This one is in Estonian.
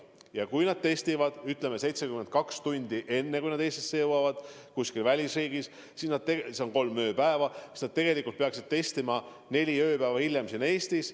Ja kui nad teevad testi välisriigis, ütleme, 72 tundi enne, kui nad Eestisse jõuavad – see on siis kolm ööpäeva –, siis nad tegelikult peaksid end testida laskma ka neli ööpäeva hiljem siin Eestis.